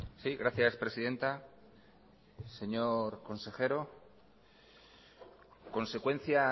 sí gracias presidenta señor consejero consecuencia